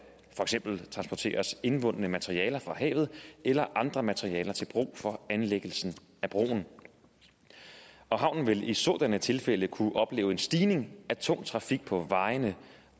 transporteres indvundne materialer fra havet eller andre materialer til brug for anlæggelsen af broen havnen vil i sådanne tilfælde kunne opleve en stigning af tung trafik på vejene